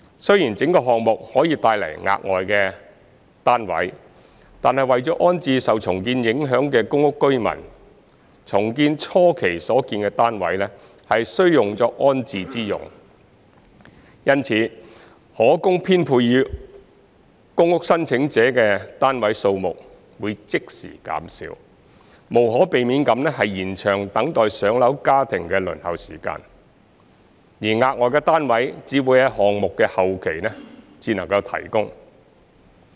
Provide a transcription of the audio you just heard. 雖然整個項目可以帶來額外單位，但為了安置受重建影響的公屋居民，重建初期所建的單位需用作安置之用，因此可供編配予公屋申請者的單位數量會即時減少，無可避免地延長等待"上樓"家庭的輪候時間；而額外的單位只會在項目的後期才能提供。